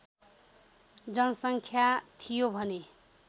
जनसङ्ख्या थियो भने